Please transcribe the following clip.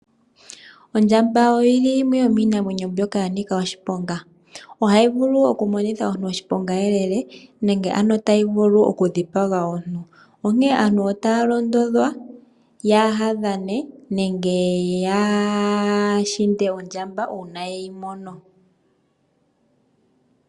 Ondjamba oyili yimwe yomiinamwenyo mbyoka yanika oshiponga, oyili hayi vulu okumonitha omuntu oshiponga lela nenge ano tayi vulu okudhipaga omuntu, onkene aantu otaya londodhwa yaadhane nenge yaahinde ondjamba una yeyi mono.